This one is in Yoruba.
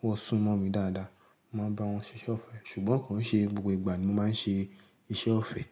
wọ́n sún mọ́ mi dáadáa, mo máa ń bá wọn ṣe iṣẹ́ ọ̀fẹ́. Ṣùgbọ́n kò ṣe gbogbo ìgbà ni mo máa ń ṣe iṣẹ́ ọ̀fẹ́